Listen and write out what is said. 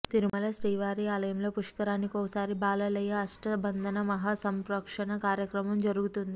తిరుమల శ్రీవారి ఆలయంలో పుష్కరానికోసారి బాలాలయ అష్టభందన మహాసంప్రోక్షణ కార్యక్రమం జరుగుతుంది